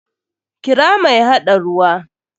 Kira mai haɗa ruwa!